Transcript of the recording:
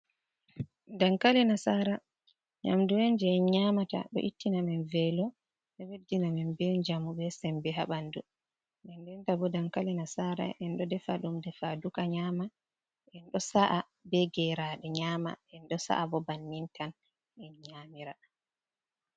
Dankali nasara nyamdu onje en nyamata ɗo ittina men velo, ɗo ɓeddina men be njamu be sembe ha ɓandu. dendenta bo dankali nasara enɗo defa ɗum defa duka nyama enɗo sa’a be geraɗe nyama enɗo sa’a bo bannin tan en nyamira.